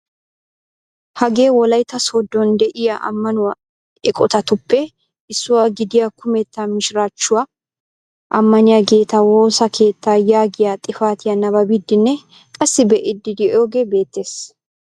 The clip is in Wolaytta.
Hagee wolaytta sooddon de'iya ammanuwa eqotatuppe issuwa gidiya kumetta mishiraachchuwaa ammaniyaageeta woosa keettaa yaagiya xifatiya nababiiddinne qassi be'iiddi de'iyogee de'ees.